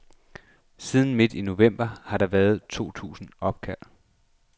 Siden midt i november har der været to tusind opkald.